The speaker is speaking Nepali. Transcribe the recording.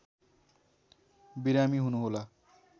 बिरामी हुनुहोला